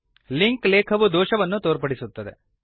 link ಲೇಖವು ದೋಷವನ್ನು ತೋರ್ಪಡಿಸುತ್ತಿದೆ